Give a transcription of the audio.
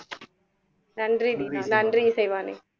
நன்றி தீனா, நன்றி இசைவாணி